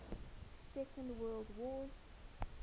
second world wars